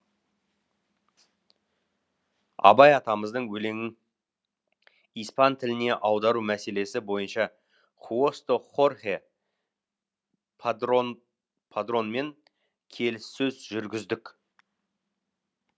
абай атамыздың өлеңін испан тіліне аудару мәселесі бойынша хусто хорхе падронмен келіссөз жүргіздік